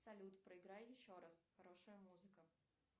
салют проиграй еще раз хорошая музыка